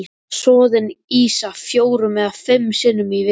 Soðin ýsa fjórum eða fimm sinnum í viku.